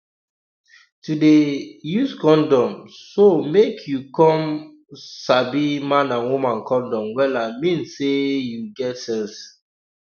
to dey um use condom so make you come um sabi man and woman condom wella mean say you get sense